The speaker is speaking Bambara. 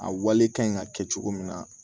A wale ka ɲi ka kɛ cogo min na